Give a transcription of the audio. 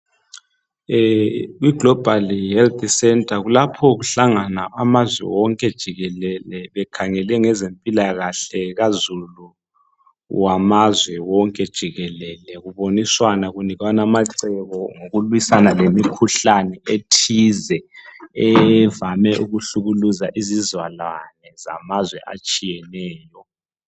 I global health center kulapho ukuhlangana amazwe wonke jikelele ekhangele ngezempilakahle kazulu wamazwe wonke jikelele kuboniswana kunikwana amacebo ngokulwiswana lemikhuhlane ethize evame ukuhlukuluza izizalwane zamazwe atshiyeneyo.